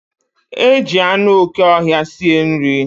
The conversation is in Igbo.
Eji anụ okè ọhịa sie nri.